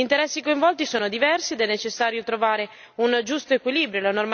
Gli interessi coinvolti sono diversi ed è necessario trovare un giusto equilibrio.